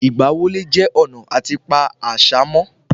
Ìgbà wọlé jẹ́ ọ̀nà àti pa àṣà mo